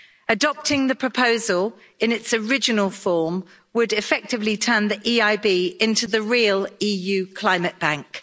Adopting the proposal in its original form would effectively turn the EIB into the real EU climate bank.